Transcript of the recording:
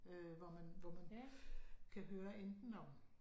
Øh hvor man hvor man kan høre enten om